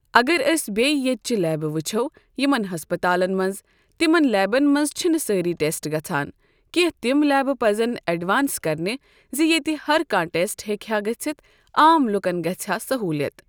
اگر أسۍ بیٚیہِ ییٚتۍچہِ لیبہٕ وٕچھو یِمن ہسپتالن منٛز۔ تٔمن لیبن منٛز چِھنہٕ سأری ٹیسٹ گژھان۔ کیٚنٛہہ تم لیبہٕ پزن ایٚڈوانس کرنہِ زِ ییٚتہِ ہر کانٛہہ ٹیسٹ ہیٚکہِ ہا گٔژھِتھ۔ عام لُکن گژھہِ ہا سہوٗلیت۔